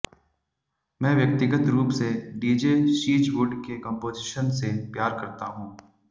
मैं व्यक्तिगत रूप से डीजे शीजवुड के कंपोजिशन से प्यार करता हूं